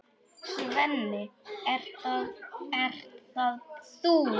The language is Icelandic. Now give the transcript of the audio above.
Svenni, ert það þú!?